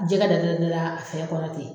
Jɛgɛ da da da da fɛn kɔnɔ ten.